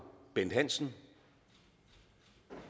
bent hansen